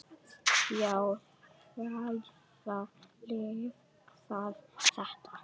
Já, hvaða líf var þetta?